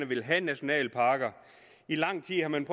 ville have nationalparker i lang tid har man